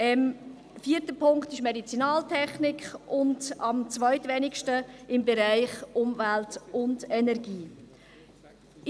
Der vierte Punkt ist Medizinaltechnik, und am zweitwenigsten ist im Bereich Umwelt und Energie vorhanden.